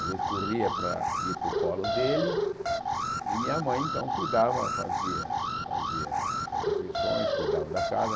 Às vezes, corria para ir para o colo dele e minha mãe, então, cuidava, fazia fazia as refeições, cuidava da casa.